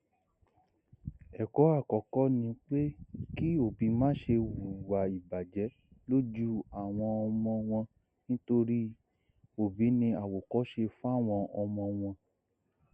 ẹkọ àkọkọ ni pé kí òbí máṣe hùwà ìbàjẹ lójú àwọn ọmọ wọn nítorí òbí ní àwòkọṣe fáwọn ọmọ wọn